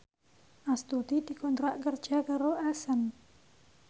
Astuti dikontrak kerja karo Accent